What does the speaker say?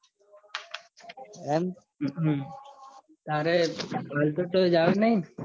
તારે હાલ તો કયોય જવાનું નથીં.